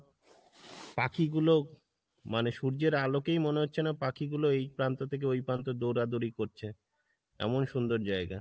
পাখি গুলো মানে সূর্যের আলোকেই মনে হচ্ছে না পাখি গুলো ওই প্রান্ত থেকে প্রান্ত দৌড়া দৌড়ি করছে, এমন সুন্দর জায়গা।